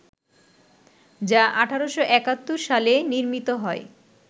যা ১৮৭১ সালে নির্মিত হয়